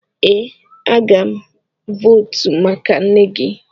Ee, a ga m votu maka nne gị.